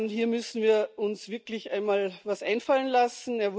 Hier müssen wir uns wirklich einmal was einfallen lassen.